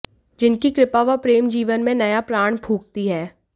जिनकी कृपा व प्रेम जीवन में नया प्राण फूंकती है